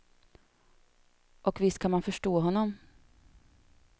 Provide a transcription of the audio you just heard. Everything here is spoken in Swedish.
Och visst kan man förstå honom.